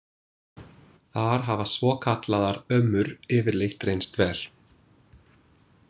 Þar hafa svokallaðar ömmur yfirleitt reynst vel.